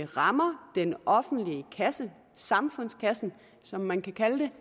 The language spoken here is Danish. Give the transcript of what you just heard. rammer den offentlige kasse samfundskassen som man kan kalde